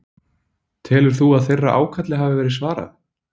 Telur þú að þeirra ákalli hafi verið svarað?